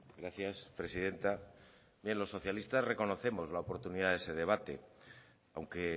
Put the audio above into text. gracias presidenta los socialistas reconocemos la oportunidad de ese debate aunque